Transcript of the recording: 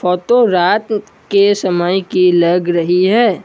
Photo रात के समय की लग रही है।